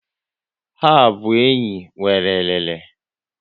Ha abụ enyi nwéré elele?